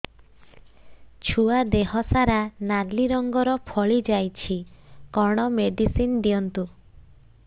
ଛୁଆ ଦେହ ସାରା ନାଲି ରଙ୍ଗର ଫଳି ଯାଇଛି କଣ ମେଡିସିନ ଦିଅନ୍ତୁ